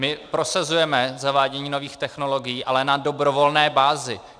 My prosazujeme zavádění nových technologií, ale na dobrovolné bázi.